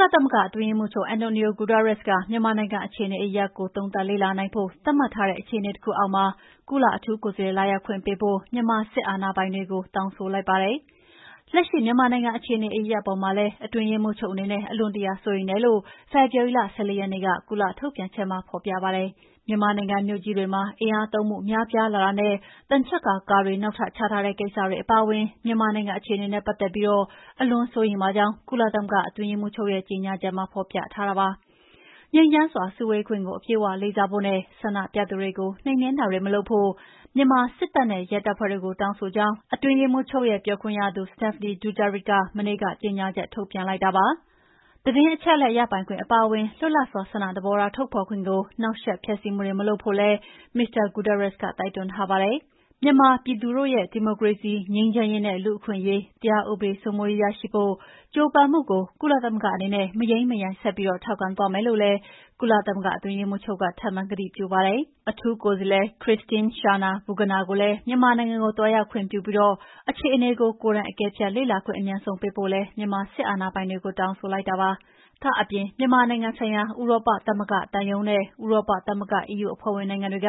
လသမဂ္ဂ အတွင်းရေးမှူးချုပ် Antonio Guterres က မြန်မာနိုင်ငံအခြေအနေအရပ်ရပ်ကို သုံးသပ်လေ့လာနိုင်ဖို့ သတ်မှတ်ထားတဲ့ အခြေအနေ တခုအောက်မှာ ကုလအထူးကိုယ်စားလှယ် လာရောက်ခွင့်ပေးဖို့ မြန်မာစစ်အာဏာပိုင်တွေကို တောင်းဆိုလိုက်ပါတယ်။ လက်ရှိ မြန်မာနိုင်ငံအခြေအနေ အရပ်ရပ်အပေါ်မှာလည်း အတွင်းရေးမှူးချုပ်အနေနဲ့ အလွန်တရာ စိုးရိမ်တယ်လို့ ဖေဖော်ဝါရီလ ၁၄ ရက်နေ့ ကုလထုတ်ပြန်ချက်မှာ ဖော်ပြပါတယ်။ မြန်မာနိုင်ငံမြို့ကြီးတွေမှာ အင်အားသုံးမှု များပြားလာတာနဲ့ သံချပ်ကာကားတွေ နောက်ထပ်ချထားတဲ့ ကိစ္စတွေ အပါအဝင် မြန်မာနိုင်ငံ အခြေအနေနဲ့ပတ်သက်ပြီး အလွန်စိုးရိမ်ပါကြောင်း ကုလသမဂ္ဂ အတွင်းရေးမှုးချုပ်ရဲ့ကြေငြာချက်မှာဖော်ပြထားတာပါ။ ငြိမ်းချမ်းစွာ စုဝေးခွင့်ကို အပြည့်အဝလေးစားဖို့နဲ့ ဆန္ဒပြသူတွေကို နှိမ်နှင်းတာတွေမလုပ်ဖို့ မြန်မာစစ်တပ်နဲ့ ရဲတပ်ဖွဲ့တို့ကို တောင်းဆိုကြောင်း အအတွင်းရေးမှူးချုပ်ရဲ့ ပြောခွင့်ရ Stéphane Dujarric က မနေ့က ကြေညာချက် ထုတ်ပြန်လိုက်တာပါ။ သတင်းအချက်လက် ရပိုင်ခွင့်အပါအဝင် လွတ်လပ်စွာ ဆန္ဒသဘောထား ထုတ်ဖေါ်ခွင့်ကို နှောက်ယှက် ဖျက်ဆီးမှုတွေ မလုပ်ဖို့လည်း မစ္စတာ Guterres က တိုက်တွန်းထားပါတယ်။ မြန်မာပြည်သူတို့ရဲ့ ဒီမိုကရေစီ၊ ငြိမ်းချမ်းရေးနဲ့ လူ့အခွင့်ရေး၊ တရားဥပဒေစိုးမိုးရေး ရရှိဖို့ ကြိုးပမ်းမှုကို ကုလသမဂ္ဂအနေနဲ့ မယိမ်းမယိုင် ဆက်ပြီး ထောက်ခံသွားမယ်လို့လည်း ကုလသမဂ္ဂ အတွင်းရေးမှူးချုပ်က ထပ်မံ ကတိပြုပါတယ်။ အထူးကိုယ်စားလှယ် မစ္စ Christine Schraner Burgener ကို မြန်မာနိုင်ငံကို သွားရောက်ခွင့်ပြုပြီး အခြေနေကို ကိုယ်တိုင် အကဲဖြတ် လေ့လာခွင့် အမြန်ဆုံး ပေးဖို့လည်း မြန်မာစစ်အာဏာပိုင်တွေကို တောင်းဆိုလိုက်ပါတယ်။ ဒါ့အပြင် မြန်မာနိုင်ငံဆိုင်ရာ ဥရောပသမဂ္ဂသံရုံးနဲ့ ဥရောပသမဂ္ဂ EU အဖွဲ့ဝင်နိုင်ငံတွေက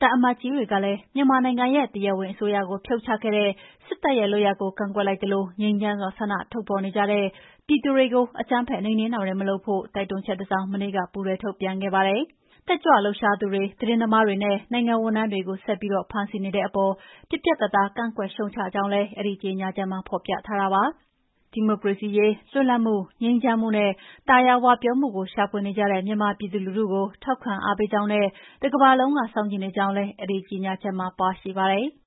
သံအမတ်ကြီးတွေကလည်း မြန်မာနိုင်ငံရဲ့တရားဝင်အစိုးရကိုဖြုတ်ချခဲ့တဲ့ စစ်တပ်ရဲ့ လုပ်ရပ်ကို ကန့်ကွက်လိုက်သလို ငြိမ်းချမ်းစွာ ဆန္ဒထုတ်ဖော်နေတဲ့ပြည်သူတွေကို အကြမ်းဖက်နှိမ်နှင်းတတွေမလုပ်ဖို့ တိုက်တွန်းချက်တစောင် မနေ့က ပူးတွဲထုတ်ပြန်ခဲ့ပါတယ်။ တက်ကြွလှုပ်ရှားသူတွေ၊ သတင်းသမားတွေနဲ့ နိုင်ငံဝန်ထမ်းတွေကို ဆက်ပြီးဖမ်းဆီးနေတဲ့အပေါ် ပြတ်ပြတ်သားသား ကန့်ကွက်ရှုတ်ချကြောင်းလည်း အဲဒီ ကြေငြာချက်မှာ ဖော်ပြထားပါတယ်။ ဒီမိုကရေစီရေး၊ လွတ်လပ်မှု၊ ငြိမ်းချမ်းမှုနဲ့ သာယာဝပြောမှုကို ရှာဖွေနေကြတဲ့မြန်မာပြည်သူလူထုကို ထောက်ခံအားပေးကြောင်းနဲ့ တကမ္ဘာလုံးက စောင့်ကြည့်နေကြောင်းလည်း အဲဒီကြေငြာချက်မှာ ပါရှိပါတယ်။